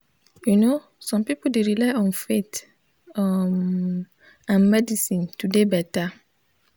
you no some pipul dey rely on faith um and medicine to dey beta.